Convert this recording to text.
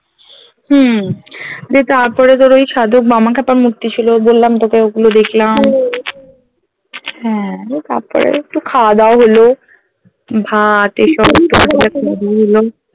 হম দিয়ে তারপরে তোর ওই সাধক বামাক্ষ্যাপার মূর্তি ছিল বললাম তোকে ওগুলো দেখলাম হ্যাঁ দিয়ে তারপরে একটু খাওয়াদাওয়া হলো ভাত